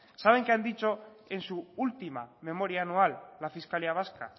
saben qué han dicho en su última memoria anual la fiscalía vasca